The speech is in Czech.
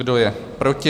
Kdo je proti?